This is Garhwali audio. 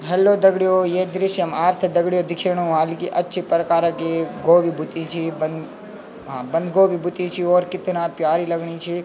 हेल्लो दग्डियों ये दृश्य मा आपथे दग्डियों दिखेणु ह्वाल की अच्छी प्रकार की गोभी बुती छी बं हाँ बंद गोभी बुती छी और कितना प्यारी लगणी छी।